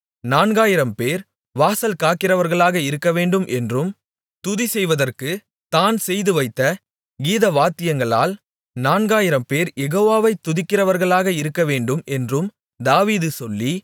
நான்காயிரம்பேர் வாசல் காக்கிறவர்களாக இருக்கவேண்டும் என்றும் துதி செய்வற்கு தான் செய்துவைத்த கீதவாத்தியங்களால் நான்காயிரம்பேர் யெகோவாவை துதிக்கிறவர்களாக இருக்கவேண்டும் என்றும் தாவீது சொல்லி